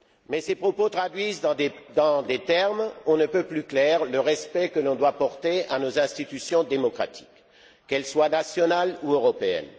Mais ces propos traduisent dans des termes on ne peut plus clairs le respect que l'on doit porter à nos institutions démocratiques, qu'elles soient nationales ou européennes.